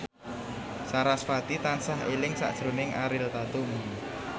sarasvati tansah eling sakjroning Ariel Tatum